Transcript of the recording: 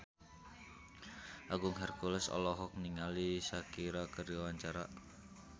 Agung Hercules olohok ningali Shakira keur diwawancara